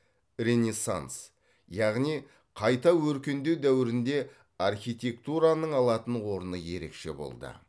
ренессанс яғни қайта өркендеу дәуірінде архитектураның алатын орны ерекше болды